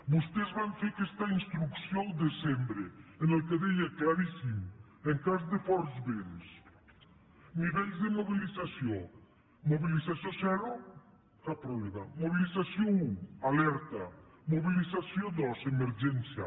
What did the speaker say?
vostès van fer aquesta instrucció el desembre en la qual deia claríssim en cas de forts vents nivells de mobilització mobilització zero cap problema mobilització un alerta mobilització dos emergència